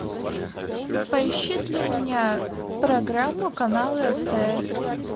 поищи для меня программу канала стс